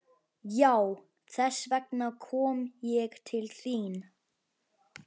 Já, þess vegna kom ég til þín.